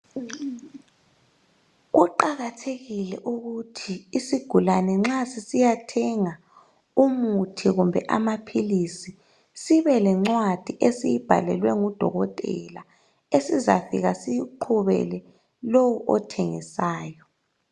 Kuqakathekile ukuthi isigulane nxa sisiyathenga umuthi kumbe amaphilisi sibe lencwadi esiyibhalelwe ngudokotela esizafika siyiqhubele lowu othengisayo.